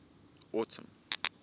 autumn